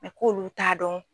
k'olu t'a dɔn.